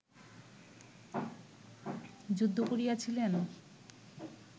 যুদ্ধ করিয়াছিলেন